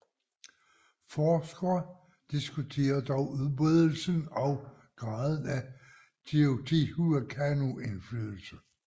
Forskere diskuterer dog udbredelsen og graden af Teotihuacano indflydelse